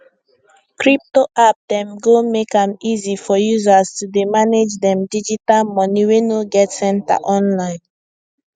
crypto app dem go make am easy for users to dey manage dem digital money wey no get center online